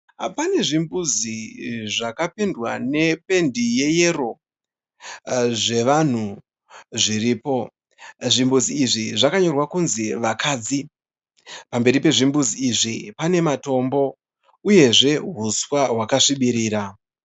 Pane zvimbuzi zvakapendwa nependi yeyero zvevanhu zviripo. Zvimbuzi izvi zvakanyorwa kunzi 'VAKADZI'. Pamberi pezvimbudzi izvi pane matombo uyezve huswa hwaka svibirira.